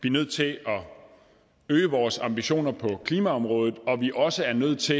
er nødt til at øge vores ambitioner på klimaområdet og at vi også er nødt til